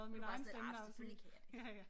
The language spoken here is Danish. Du var bare sådan lidt ah selvfølgelig kan jeg det